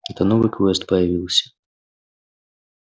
это новый квест появился